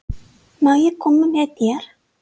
Má ég koma með þér?